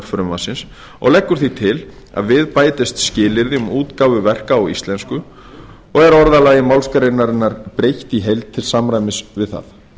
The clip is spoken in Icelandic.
frumvarpsins og leggur því til að við bætist skilyrði um útgáfu verka á íslensku og er orðalagi málsgreinarinnar breytt í heild til samræmis við það